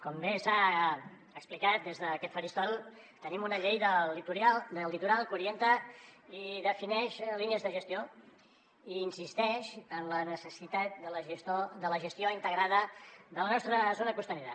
com bé s’ha explicat des d’aquest faristol tenim una llei del litoral que orienta i defineix línies de gestió i insisteix en la necessitat de la gestió integrada de la nostra zona costanera